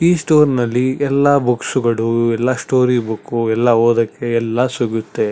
ಈ ಸ್ಟೋರ್ ನಲ್ಲಿ ಎಲ್ಲ ಬುಕ್ಸ್ ಗಳು ಎಲ್ಲ ಸ್ಟೋರಿ ಬುಕ್ಕು ಎಲ್ಲ ಓದಕ್ಕೆ ಎಲ್ಲಾ ಸಿಗತ್ತೆ.